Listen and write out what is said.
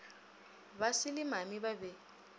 basi le mami ba be